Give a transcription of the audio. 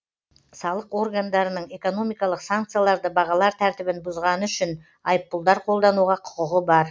салық органдарының экономикалық санкцияларды бағалар тәртібін бұзғаны үшін айыппұлдар қолдануға құқығы бар